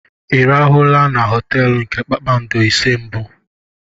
Ị rahụla na họteelu nke kpakpando ise mbụ?